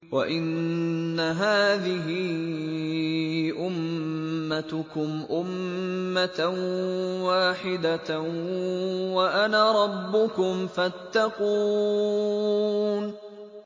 وَإِنَّ هَٰذِهِ أُمَّتُكُمْ أُمَّةً وَاحِدَةً وَأَنَا رَبُّكُمْ فَاتَّقُونِ